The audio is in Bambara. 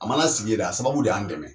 A mana sigi yen dɛ, a sababu de y'an dɛmɛ.